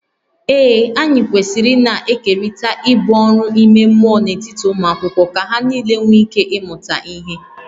Ee, anyị kwesịrị ịna-ekerịta ibu ọrụ ime mmụọ n’etiti ụmụ akwụkwọ ka ha nile nwee ike ịmụta ihe